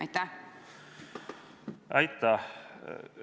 Aitäh!